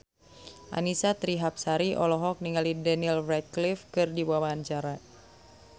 Annisa Trihapsari olohok ningali Daniel Radcliffe keur diwawancara